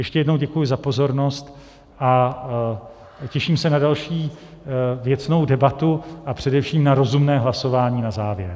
Ještě jednou děkuji za pozornost a těším se na další věcnou debatu, a především na rozumné hlasování na závěr.